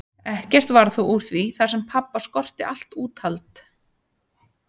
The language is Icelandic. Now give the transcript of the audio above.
Ekkert varð þó úr því þar sem pabba skorti allt úthald.